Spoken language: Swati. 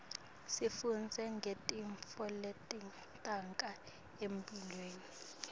sifundza ngetintfo letenteka emtiimbeni